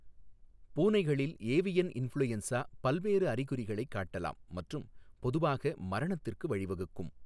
பூனைகளில் avian influenza பல்வேறு அறிகுறிகளைக் காட்டலாம் மற்றும் பொதுவாக மரணத்திற்கு வழிவகுக்கும்.